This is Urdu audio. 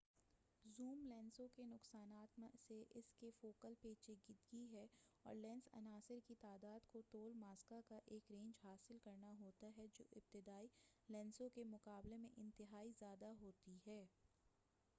زوم لینسوں کے نقصانات میں اسکے فوکل پیچیدگی ہے اور لینس عناصر کی تعداد کو طول ماسکہ کا ایک رینج حاصل کرنا ہوتا ہے جو ابتدائی لینسوں کے مقابلے میں انتہائی زیادہ ہوتی ہے